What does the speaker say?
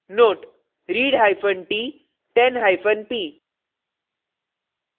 * note : readhyphen t 10hyphen p